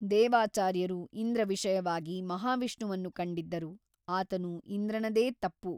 ದೇವಾಚಾರ್ಯರು ಇಂದ್ರ ವಿಷಯವಾಗಿ ಮಹಾವಿಷ್ಣುವನ್ನು ಕಂಡಿದ್ದರು ಆತನು ಇಂದ್ರನದೇ ತಪ್ಪು.